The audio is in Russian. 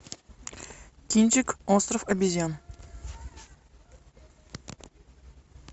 кинчик остров обезьян